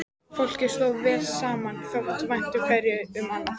Fólkið stóð vel saman, þótti vænt hverju um annað.